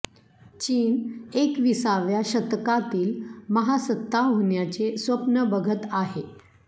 चीन एकविसाव्या शतकातील महासत्ता होण्याचे स्वप्न बघत आहे